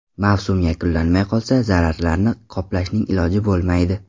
Mavsum yakunlanmay qolsa zararlarni qoplashning iloji bo‘lmaydi.